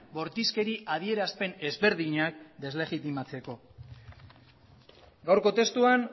bortizkeri adierazpen ezberdinak deslegitimatzeko gaurko testuan